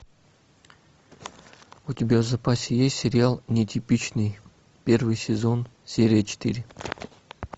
у тебя в запасе есть сериал нетипичный первый сезон серия четыре